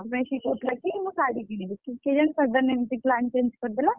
ସେଥିପାଇଁ ସେ କହୁଥିଲା କି ମୁଁ ଶାଢୀ କିଣିବି କିନ୍ତୁ କେଜାଣି sudden ଏମିତି plan change କରିଦେଲା,